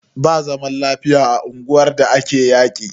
Ba zaman lafiya a unguwar da ake yaƙi.